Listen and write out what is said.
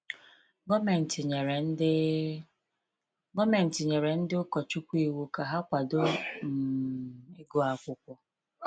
Gọọmenti nyere ndị Gọọmenti nyere ndị ụkọchukwu iwu ka ha kwado um ịgụ akwụkwọ.